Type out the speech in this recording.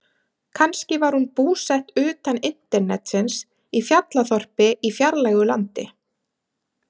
Kannski var hún búsett utan internetsins, í fjallaþorpi í fjarlægu landi.